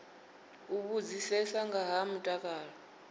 u vhudzisea nga ha mutakalo